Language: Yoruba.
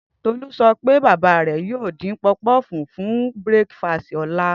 Tolu sọ pe baba rẹ yoo din-din puff puff fun breakast ọla.